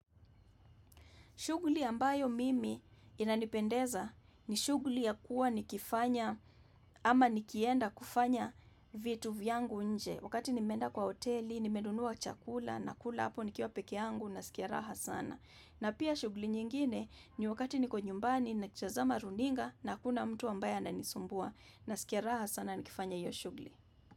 Shughuli ambayo mimi inanipendeza ni shughuli ya kuwa nikifanya ama nikienda kufanya vitu vyangu nje. Wakati nimmenda kwa hoteli, nimenunua chakula, nakula hapo nikiwa peke yangu, nasikia raha sana. Na pia shughli nyingine ni wakati niko nyumbani, nikitazama runinga, na hakuna mtu ambaye ananisumbua. Nasikia raha sana nikifanya hiyo shughli.